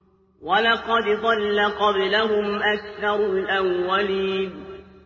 وَلَقَدْ ضَلَّ قَبْلَهُمْ أَكْثَرُ الْأَوَّلِينَ